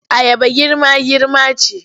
Ayaba girma-girma ce.